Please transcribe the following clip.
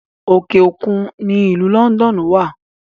Òkè òkun ni ìlú Lọ́ndọ́ọ́nù wà